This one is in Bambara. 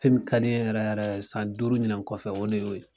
Fɛn min ka di n yɛrɛ yɛrɛ san duuru ɲina kɔfɛ o de y'o ye.